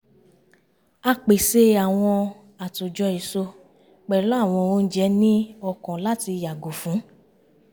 à pèsè àwọn àtòjọ èso pẹ̀lú àwọn oúnjẹ ní ọkàn láti yàgò fún